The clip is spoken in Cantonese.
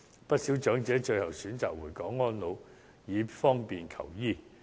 不少長者最後均選擇回港安老，以方便求醫。